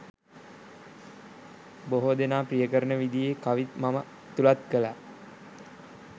බොහෝ දෙනා ප්‍රිය කරන විදියේ කවිත් මම ඇතුළත් කළා